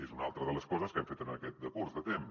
és una altra de les coses que hem fet en aquest decurs de temps